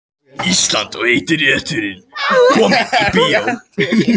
Ísland og heiti reiturinn.